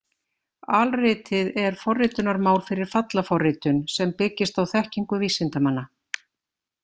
Alritið er forritunarmál fyrir fallaforritun sem byggist á þekkingu vísindamanna.